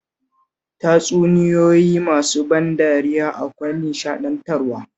Tatsuniyoyi masu ban dariya akwai nishaɗantarwa